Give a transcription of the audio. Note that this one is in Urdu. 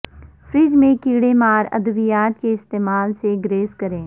فریج میں کیڑے مار ادویات کے استعمال سے گریز کریں